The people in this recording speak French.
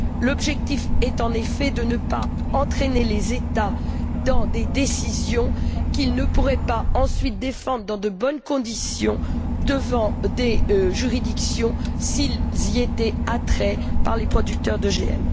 L'objectif est, en effet, de ne pas entraîner les États dans des décisions qu'ils ne pourraient pas, ensuite, défendre dans de bonnes conditions devant des juridictions s'ils y étaient amenés par les producteurs d'OGM.